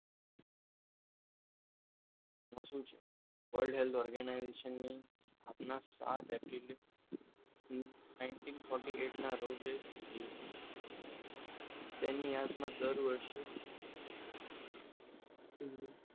આ શું છે world health organisation ની સ્થાપના સાત એપ્રિલ nineteen forty eight ના રોજ થઈ હતી તેની યાદમાં દર વર્ષે